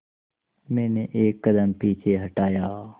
मैंने एक कदम पीछे हटाया